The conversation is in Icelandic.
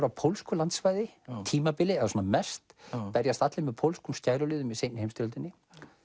á pólsku landsvæði á tímabili svona mest berjast allir með pólskum skæruliðum í seinni heimsstyrjöldinni